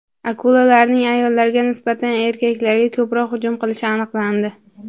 Akulalarning ayollarga nisbatan erkaklarga ko‘proq hujum qilishi aniqlandi.